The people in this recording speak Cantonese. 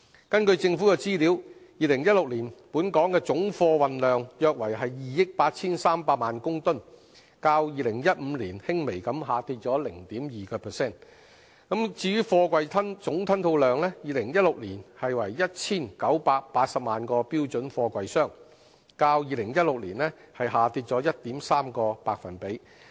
根據政府的資料 ，2016 年本港總貨運量約為2億 8,300 萬公噸，較2015年輕微下跌了 0.2%； 至於貨櫃總吞吐量 ，2016 年為 1,980 萬個標準貨櫃箱，較2015年下跌 1.3%。